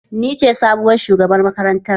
Ni ce sabuwar shugabar makarantar